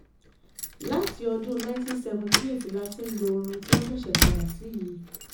láti ọdún nineteen seventy eight la ti ń lo orin tí wọ́n ṣẹ̀ṣẹ̀ padà sí yìí